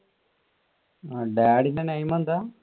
daddy ന്റെ name എന്താ?